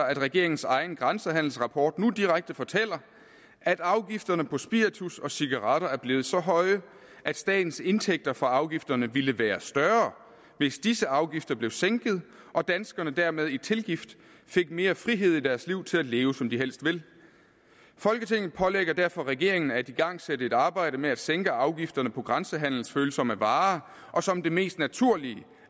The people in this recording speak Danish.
at regeringens egen grænsehandelsrapport nu direkte fortæller at afgifterne på spiritus og cigaretter er blevet så høje at statens indtægter fra afgifterne ville være større hvis disse afgifter blev sænket og danskerne dermed i tilgift fik mere frihed i deres liv til at leve som de helst vil folketinget pålægger derfor regeringen at igangsætte et arbejde med at sænke afgifterne på grænsehandelsfølsomme varer og som det mest naturlige